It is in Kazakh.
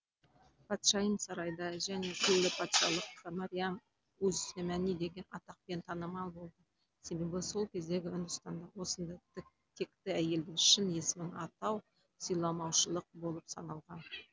патшайым сарайда және күллі патшалыққа мәриям үз замани деген атақпен танымал болды себебі сол кездегі үндістанда осындай текті әйелдің шын есімін атау сыйламаушылық болып саналған